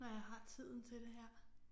Når jeg har tiden til det her